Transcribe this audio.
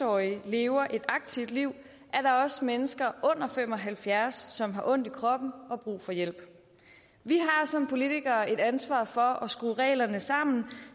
årige lever et aktivt liv er der også mennesker under fem og halvfjerds år som har ondt i kroppen og brug for hjælp vi har som politikere et ansvar for at skrue reglerne sammen